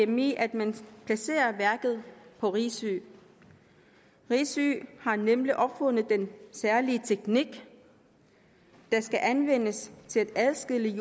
gme at man placerer værket på risø risø har nemlig opfundet den særlige teknik der skal anvendes til at adskille